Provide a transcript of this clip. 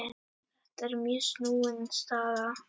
Þetta er mjög snúin staða.